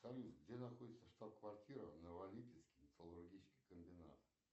салют где находится штаб квартира новолипецкий металлургический комбинат